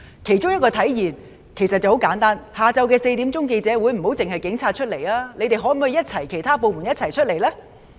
其中一個體現方式其實十分簡單，就是下午4時的記者會，不要只是警察出席，其他部門可否一起出席呢？